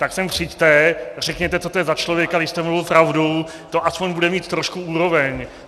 Tak sem přijďte, řekněte, co to je za člověka, když jste mluvil pravdu, to aspoň bude mít trošku úroveň.